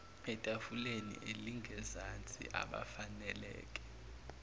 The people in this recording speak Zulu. etafuleni elingezansi abafaneleke